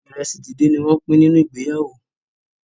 iresi dín dín ní wón pín nínú ìgbéyàwó.